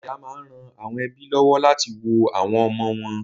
Dékià máa ń ran àwọn ẹ́bí lọ́wọ́ láti wo àwọn ọmọ wọn